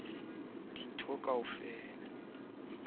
wa phethahatso le moifo wa